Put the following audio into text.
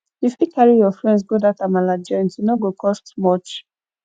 you fit carry your friends go dat amala joint e no go cost much